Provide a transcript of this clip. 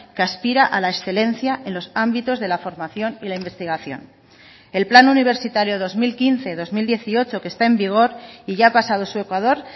que aspira a la excelencia en los ámbitos de la formación y la investigación el plan universitario dos mil quince dos mil dieciocho que está en vigor y ya ha pasado su ecuador